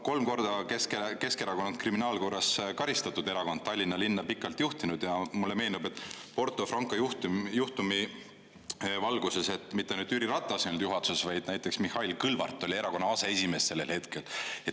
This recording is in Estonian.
Kolm korda on Keskerakond olnud kriminaalkorras karistatud erakond, Tallinna linna pikalt juhtinud ja mulle meenub Porto Franco juhtum juhtumi valguses, et mitte ainult Jüri Ratas ei olnud juhatuses, vaid näiteks Mihhail Kõlvart oli erakonna aseesimees sellel hetkel.